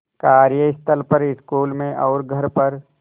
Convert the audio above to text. कार्यस्थल पर स्कूल में और घर पर